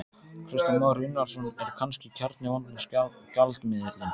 Kristján Már Unnarsson: Er kannski kjarni vandans gjaldmiðillinn?